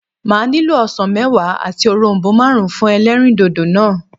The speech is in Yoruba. Màá nílò osàn méwàá àti òronbó máàrún fún elérìndòdò náà